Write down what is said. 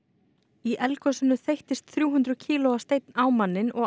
í eldgosinu þeyttist þrjú hundruð kílóa steinn á manninn og